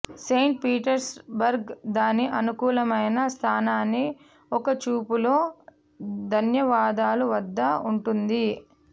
Saint Petersburg దాని అనుకూలమైన స్థానాన్ని ఒక చూపులో ధన్యవాదాలు వద్ద ఉంటుంది